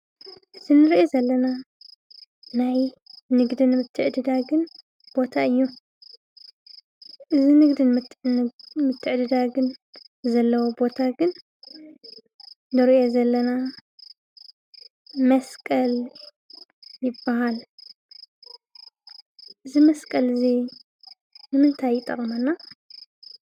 እዚ እንሪኦ ዘለና ናይ ንግድን ምትዕድዳግን ቦታ እዩ። እዚ ንግድን ምትዕድዳግን ዘለዎ ቦታ ግን ንሪኦ ዘለና መስቀል ይብሃል። እዚ መስቀል እዚ ንምንታይ ይጠቕመና?